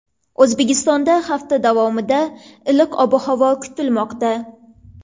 O‘zbekistonda hafta davomida iliq ob-havo kutilmoqda.